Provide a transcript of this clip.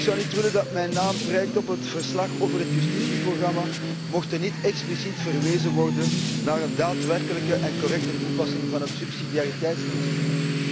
Ik zou niet willen dat mijn naam prijkt op het verslag over het justitieprogramma, mocht er niet expliciet worden verwezen naar een daadwerkelijke en correcte toepassing van het subsidiariteitsbeginsel.